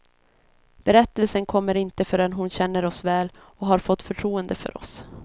Berättelsen kommer inte förrän hon känner oss väl och har fått förtroende för oss.